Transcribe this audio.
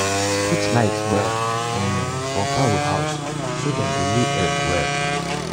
put light well for um fowl house so dem go lay egg well.